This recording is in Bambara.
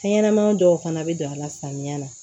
Fɛn ɲɛnɛma dɔw fana bɛ don a la samiya na